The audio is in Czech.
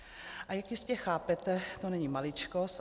A jak jistě chápete, to není maličkost.